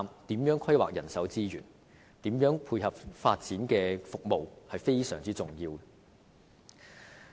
如何規劃人手資源及如何配合發展的服務都是非常重要的。